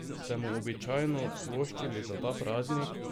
Ste mu običajno voščili za ta praznik?